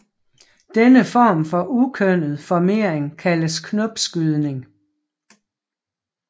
Denne form for ukønnet formering kaldes knopskydning